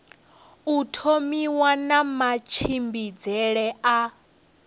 u thomiwa na matshimbidzele a